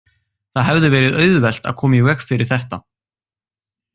Það hefði verið auðvelt að koma í veg fyrir þetta.